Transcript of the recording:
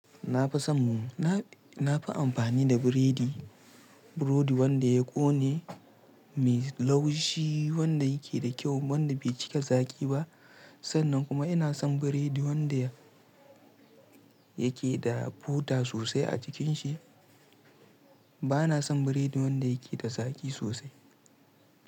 Na fi son, na fi amfani da biredi, burodi wanda ya ƙone, me laushi, wanda yake da kyau, wanda bai cika zaƙi ba. Sannan kuma ina son biredi wanda yake da bota sosai a cikin shi. Bana son biredi wanda yake da zaƙi sosai.